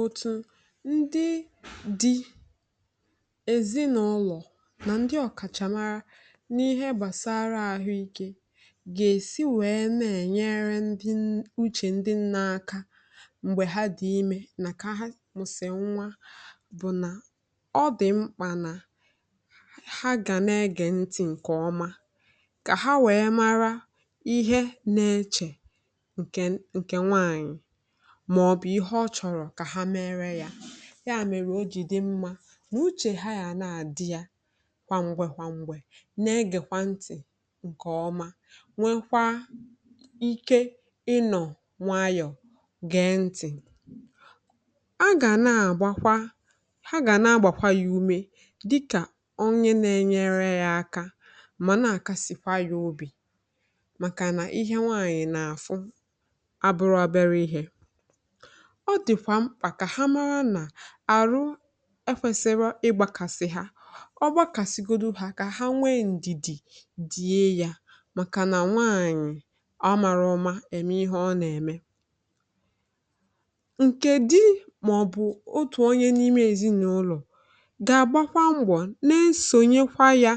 Otu ndị dị n’ezinụlọ na ndị ọkachamara n’ihe gbasara ahụ ike ga-esi were na-enyere ndị n’uche, ndị nne, aka mgbe ha dị ime, n’ihi na ọ dị mkpa ka ha na-ege ntị nke ọma ka ha wee mara ihe na-eche n’uche nwaanyị maọbụ ihe ọ chọrọ ka ha mee. Ọ dị mma na uche ha ga na-adị ya kwa ngwee, na-egekwa ntị nke ọma, nwekwa ike ịnọ nwayọ, gee ntị, na-agba ha ume, dịka onye na-enyere ha aka, na-akwado ha n’obi, maka na ihe nwaanyị na-afụ dịkwa mkpa. Ha kwesịrị ịma na ọrụ e fere, igbakasị ha, ọ dị ha mkpa ka ha nwee ndidi. Nwaanyị mara ihe ọ na-eme, nke di maọbụ otu onye n’ime ezinụlọ, ga-agbakwa mgba, soro ya kwado,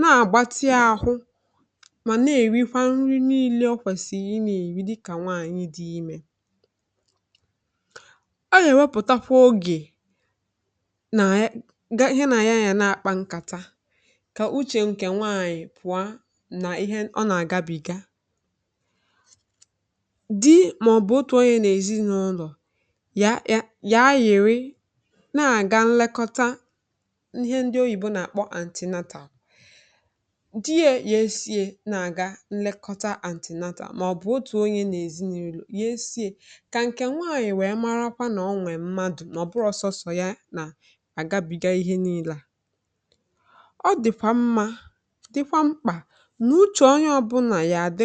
ma soro ya gbaa mbọ, rie nri niile ọ kwesịrị iri dịka nwaanyị dị ime. Ọ ga ewepụtakwa oge na ya nke na-aya ya na-akpa nkata, ka uche nwaanyị pụọ n’ihe ọ na-aga bịa di maọbụ otu ọ bụla ya na ezinụlọ ya na-agaghị nlekọta ihe ndị oyibo na-akpọ “antenatal.” Ọ dị mma na ọ bụrụ na onye n’ezinụlọ ahụ, nwaanyị ahụ, mara onwe ya, ma ọ bụrụ na ọsọsọ ya na-agabiga ihe niile, ọ dịkwa mma, dịkwa mkpa na uche onye ọ bụla ga-adị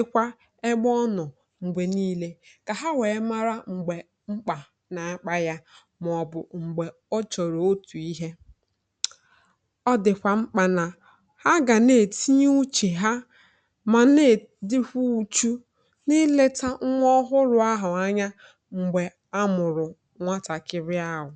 egbo onọ mgbe niile, ka ha wee mara mgbe mkpà na-akpa ya, ma ọ bụ mgbe o chọrọ otu ihe. Ọ dịkwa mkpa ka ha na-etinye uche ha, na na-elekọta nwa ọhụrụ ahụ anya, nwatakịrị ahụ.